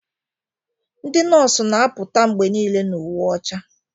dị nọọsụ na-apụta mgbe niile na uwe ọcha